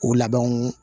O labɛnw